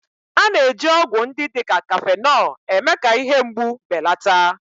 A na-eji ọgwụ ndị dị ka kafenọ eme-ka ihe mgbu belata